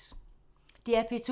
DR P2